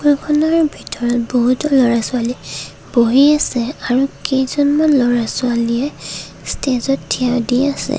ফটোখনৰ ভিতৰত বহুতো ল'ৰা-ছোৱালী বহি আছে আৰু কেইজনমান ল'ৰা-ছোৱালীয়ে ষ্টেজত থিয় দি আছে।